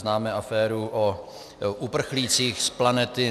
Známe aféru o uprchlících z planety